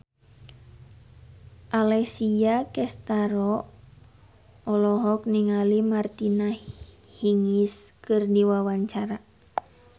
Alessia Cestaro olohok ningali Martina Hingis keur diwawancara